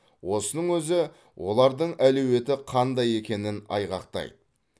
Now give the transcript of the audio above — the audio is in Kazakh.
осының өзі олардың әлеуеті қандай екенін айғақтайды